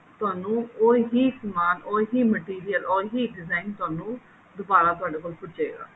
ਤੇ ਤੁਹਾਨੂੰ ਉਹੀ ਸਮਾਨ ਉਹੀ material ਉਹੀ design ਤੁਹਾਨੂੰ ਦੁਬਾਰਾ ਤੁਹਾਡੇ ਕੋਲ ਭੁਜੇਗਾ